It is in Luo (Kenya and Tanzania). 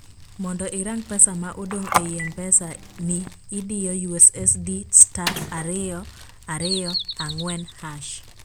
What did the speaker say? mondo irang pesa ma odong ei mpesa ni idiyo USSD star ariyo ariyo ang'uen hashh